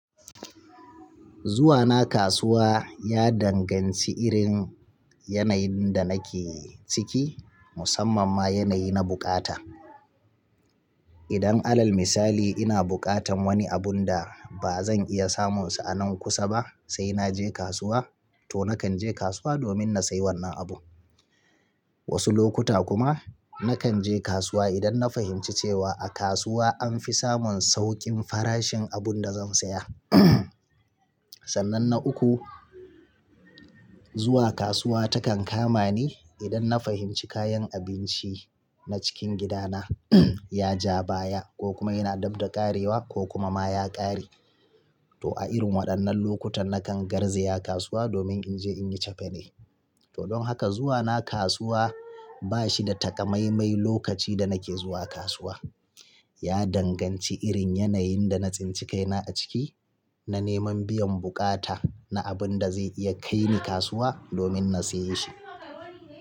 Zuwa na kasuwa ya danganci irin yanayin da nake ciki, musamman ma yanayi na bukata. Idan alal misali ina bukatan wani abun da ba zan iya samunsa a nan kusa ba, sai naje kasuwa, to nakan je kasuwa domin na sayi wannan abu. Wasu lokuta kuma nakan je kasuwa idan na fahimci cewa a kasuwa an fi samun saukin farashin abun da zan saya. Sannan na uku, zuwa kasuwa takan kama ni idan na fahimci kayan abinci na cikin gidana ya ja baya ko kuma yana dabda ƙarewa ko kuma ma ya ƙare. To a irin waɗannan lokutan nakan garzaya kasuwa domin in je inyi cefane. To don haka zuwa na kasuwa ba shi da takamaimai lokaci da nake zuwa kasuwa. Ya danganci irin yanayin da na tsinci kaina a ciki, na neman biyan bukata na abun da zai iya kai ni kasuwa domin na saye shi.